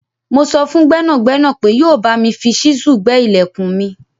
Mo sọ fún gbẹ́nàgbénà pé yóò bámi fi ṣísù gbé ìlẹ̀kùn mi